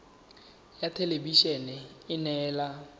ya thelebi ene e neela